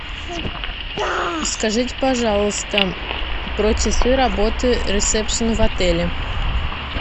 скажите пожалуйста про часы работы ресепшна в отеле